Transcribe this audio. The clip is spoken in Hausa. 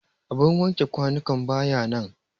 abin wanke kwanukan ba ya nan